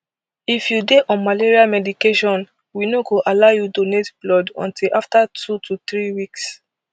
if you dey on malaria medication we no go allow you donate blood until afta two to three weeks